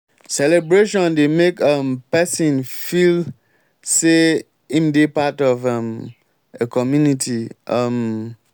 celebration dey make um person feel sey im dey part of um a community um